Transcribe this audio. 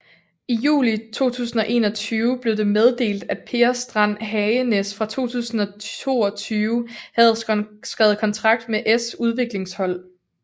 I juli 2021 blev det meddelt at Per Strand Hagenes fra 2022 havde skrevet kontrakt med s udviklingshold